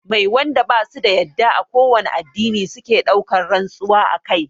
Mai wanda basu da yadda a kowane addini suke ɗaukan rantsuwa akai?